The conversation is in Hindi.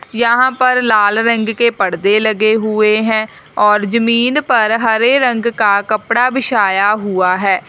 यहां पर लाल रंग के परदे लगे हुए हैं और जमीन पर हरे रंग का कपड़ा बिछाया हुआ है।